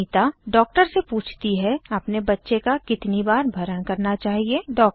Anita doctor से पूछती है अपने बच्चे का कितनी बार भरण करना चाहिए160